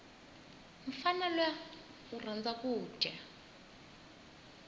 mufana luya urhandza kuja